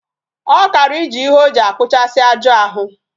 Okara ije ihe oji akpuchasi ahu aju